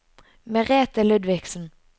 Merethe Ludvigsen